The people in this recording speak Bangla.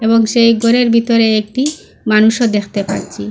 এবং সেই ঘরের ভিতরে একটি মানুষও দেখতে পাচ্ছি।